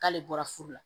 K'ale bɔra furu la